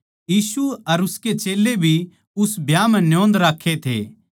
यीशु अर उसके चेल्लें भी उस ब्याह म्ह न्योंद राक्खे थे